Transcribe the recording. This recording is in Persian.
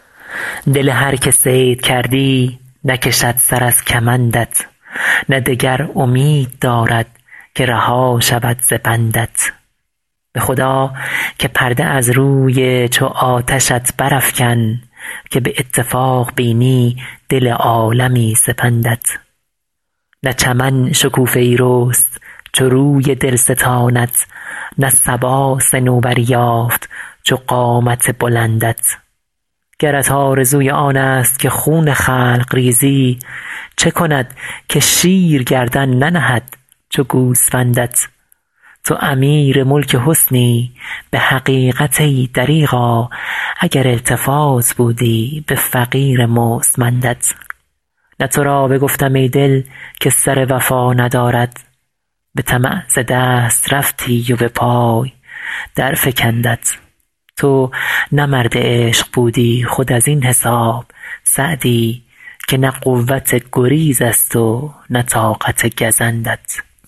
دل هر که صید کردی نکشد سر از کمندت نه دگر امید دارد که رها شود ز بندت به خدا که پرده از روی چو آتشت برافکن که به اتفاق بینی دل عالمی سپندت نه چمن شکوفه ای رست چو روی دلستانت نه صبا صنوبری یافت چو قامت بلندت گرت آرزوی آنست که خون خلق ریزی چه کند که شیر گردن ننهد چو گوسفندت تو امیر ملک حسنی به حقیقت ای دریغا اگر التفات بودی به فقیر مستمندت نه تو را بگفتم ای دل که سر وفا ندارد به طمع ز دست رفتی و به پای درفکندت تو نه مرد عشق بودی خود از این حساب سعدی که نه قوت گریزست و نه طاقت گزندت